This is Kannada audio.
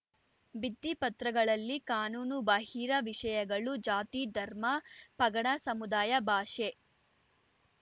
ಭಿತ್ತಿಪತ್ರಗಳಲ್ಲಿ ಕಾನೂನುಬಾಹಿರ ವಿಷಯಗಳು ಜಾತಿ ಧರ್ಮ ಪಗಡ ಸಮುದಾಯ ಭಾಷೆ